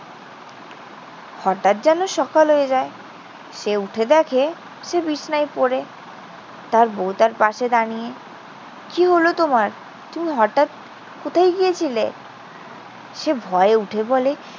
হঠাৎ যেন সকাল হয়ে যায়। সে উঠে দেখে সে বিছানায় পড়ে। তার বউ তার পাশে দাঁড়িয়ে। কি হলো তোমার? তুমি হঠাৎ কোথায় গিয়েছিলে? সে ভয়ে উঠে বলে,